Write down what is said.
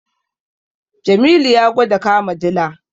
Jamilu ya gwada kama dila.